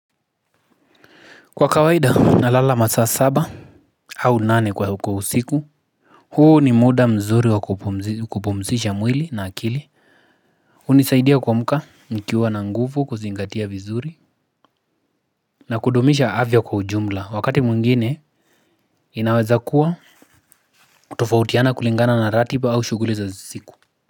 Kwa kawaida nalala masaa saba au nane kwa usiku. Huu ni muda mzuri wa kupumzisha mwili na akili. Hunisaidia kuamka nikiwa na nguvu kuzingatia vizuri. Na kudumisha afya kwa ujumla, wakati mwingine inaweza kuwa kutofautiana kulingana na ratiba au shughuli za usiku.